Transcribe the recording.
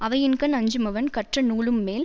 அவையின்கண் அஞ்சுமவன் கற்றநூலும்மேல்